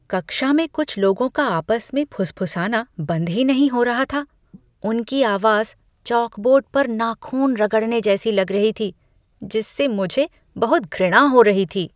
कक्षा में कुछ लोगों का आपस में फुसफुसाना बंद ही नहीं हो रहा था। उनकी आवाज चॉकबोर्ड पर नाख़ून रगड़ने जैसी लग रही थी जिससे मुझे बहुत घृणा हो रही थी।